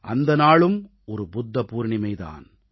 அந்த நாளும் ஒரு புத்த பவுர்ணமி தான்